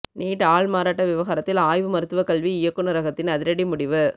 NEET ஆள்மாறாட்ட விவகாரத்தில் ஆய்வு மருத்துவ கல்வி இயக்குநரகத்தின் அதிரடி முடிவு